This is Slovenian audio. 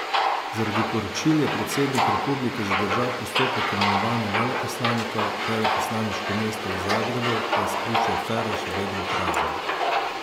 Zaradi poročil je predsednik republike zadržal postopek imenovanja veleposlanikov, veleposlaniško mesto v Zagrebu pa je spričo afere še vedno prazno.